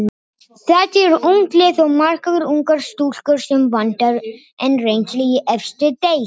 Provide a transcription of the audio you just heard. Þetta er ungt lið og margar ungar stúlkur sem vantar enn reynslu í efstu deild.